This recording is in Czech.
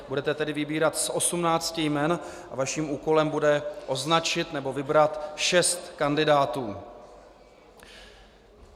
Budete tedy vybírat z osmnácti jmen a vaším úkolem bude označit nebo vybrat šest kandidátů.